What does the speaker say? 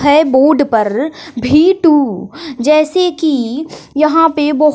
है बोर्ड पर V two जैसे की यहां पे बहो--